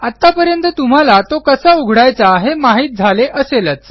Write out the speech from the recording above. आत्तापर्यंत तुम्हाला तो कसा उघडायचा हे माहित झाले असेलच